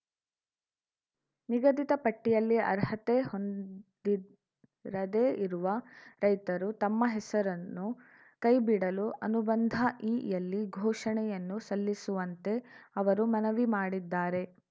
ನಿಗದಿತ ಪಟ್ಟಿಯಲ್ಲಿ ಅರ್ಹತೆ ಹೊಂದಿರದೇ ಇರುವ ರೈತರು ತಮ್ಮ ಹೆಸರನ್ನು ಕೈ ಬಿಡಲು ಅನುಬಂಧಇ ಯಲ್ಲಿ ಘೋಷಣೆಯನ್ನು ಸಲ್ಲಿಸುವಂತೆ ಅವರು ಮನವಿ ಮಾಡಿದ್ದಾರೆ